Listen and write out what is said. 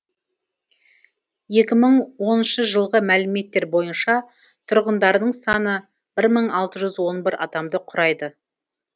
екі мың оныншы жылғы мәліметтер бойынша тұрғындарының саны бір мың алты жүз он бір адамды құрайды